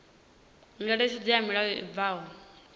ngeletshedzo ya mulayo i bvaho